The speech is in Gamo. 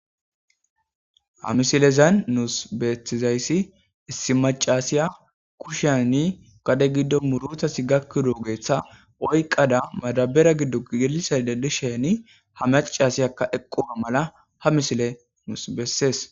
Ha misilezan nuus beethizayssi issi maccasiya kushani gade giddo murutasi gakkidoogetha oyqqada madabera giddo gelisaydda disheni ha macasiyakka eqqooga mala ha misile nuus bessees.